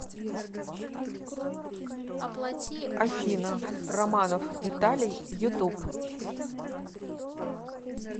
афина романов виталий ютуб